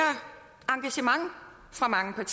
engagement fra mange